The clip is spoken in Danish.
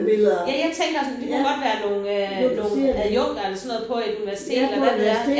Ja jeg tænker også men det kunne godt være nogle øh nogen adjunkter eller sådan noget på et universitet eller hvad ved jeg